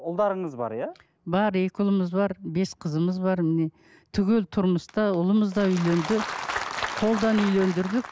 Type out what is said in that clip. ұлдарыңыз бар иә бар екі ұлымыз бар бес қызымыз бар міне түгелі тұрмыста ұлымыз да үйленді қолдан үйлендірдік